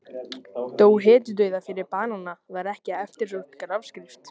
Dó hetjudauða fyrir banana var ekki eftirsótt grafskrift.